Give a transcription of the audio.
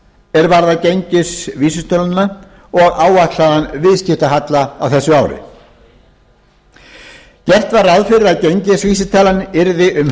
er varðar gengisvísitöluna og áætlaðan viðskiptahalla á þessu ári gert var ráð fyrir að gengisvísitalan yrði um